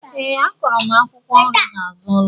Ee a kọro mụ akwụkwọ nri na azụ ụlọ.